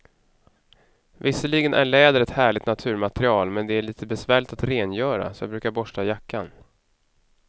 Visserligen är läder ett härligt naturmaterial, men det är lite besvärligt att rengöra, så jag brukar borsta jackan.